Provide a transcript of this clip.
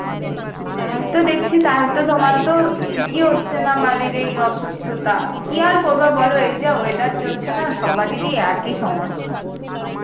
তাই তো দেখছি তাইতো তোমার তো ঠিকই হচ্ছে না মানে এই অসুস্থতা, কি আর করবে বল এই যা weather চলছে না সবারেরই একই সমস্যা